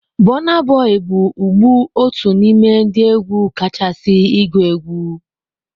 Burna Boy's bụ ugbu otu n'ime ndị egwu kachasị igu egwu.